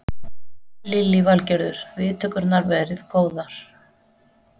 Lillý Valgerður: Viðtökurnar verið góðar?